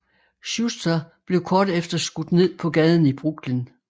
Schuster blev kort efter skudt ned på gaden i Brooklyn